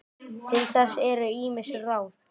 Til þess eru ýmis ráð.